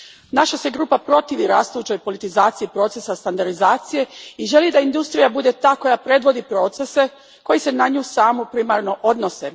Naša se grupa protivi rastućoj politizaciji procesa standardizacije i želi da industrija bude ta koja predvodi procese koji se na nju samu primarno odnose.